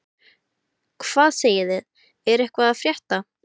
Hvað segið þið, er eitthvað að frétta?